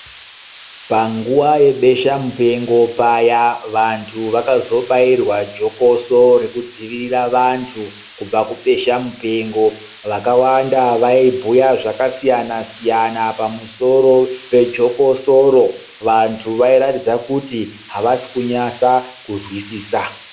Panguwa yebesha mupengo paya, vantu vakazobairwa jokoso rekudzivirira vanthu, kubva kubesha mupengo. Vakawanda vaibhuya zvakasiyana-siyana pamusoro pejokosoro. Vantu vairatidza kuti havasikunyasa kuzwisisa.